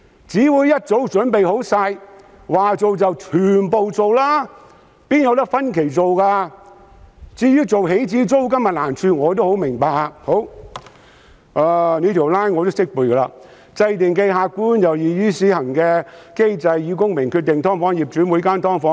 至於訂立起始租金的難處，我也十分明白。這條 line 我同樣懂得背誦：制訂既客觀且易於施行的機制以公平地決定"劏房"業主就每間"劏房"......